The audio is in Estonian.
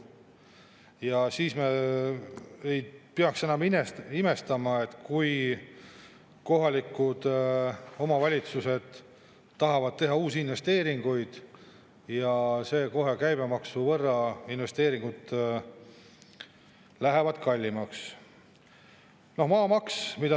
Ja me ei peaks imestama, kui kohalikud omavalitsused tahavad teha uusi investeeringuid, siis need lähevad kohe käibemaksu võrra kallimaks.